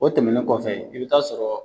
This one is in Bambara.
O tɛmɛnen kɔfɛ i bɛ taa sɔrɔ